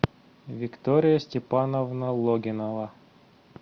виктория степановна логинова